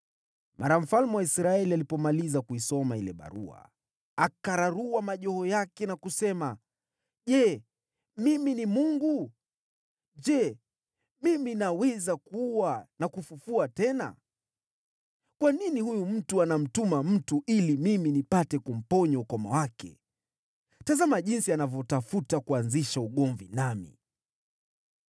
Mara mfalme wa Israeli alipomaliza kuisoma ile barua, akararua mavazi yake na kusema, “Je, mimi ni Mungu? Je, mimi naweza kuua na kufufua tena? Kwa nini huyu mtu anamtuma mtu ili mimi nipate kumponya ukoma wake? Tazama jinsi anavyotafuta kuanzisha ugomvi nami!”